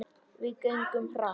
Við göngum hratt.